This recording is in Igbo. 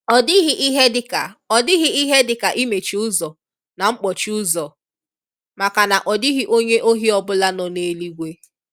ọdighi ihe dika ọdighi ihe dika imechi ụzọ na nkpọchi ụzọ, maka na ọdighi onye ohi ọbula no n'eluigwe.